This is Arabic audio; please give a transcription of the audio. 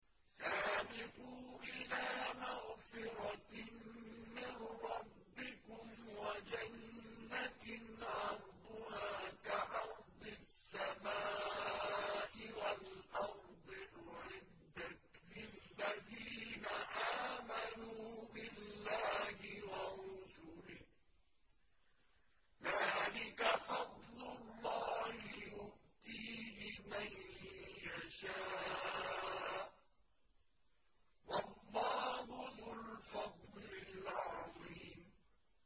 سَابِقُوا إِلَىٰ مَغْفِرَةٍ مِّن رَّبِّكُمْ وَجَنَّةٍ عَرْضُهَا كَعَرْضِ السَّمَاءِ وَالْأَرْضِ أُعِدَّتْ لِلَّذِينَ آمَنُوا بِاللَّهِ وَرُسُلِهِ ۚ ذَٰلِكَ فَضْلُ اللَّهِ يُؤْتِيهِ مَن يَشَاءُ ۚ وَاللَّهُ ذُو الْفَضْلِ الْعَظِيمِ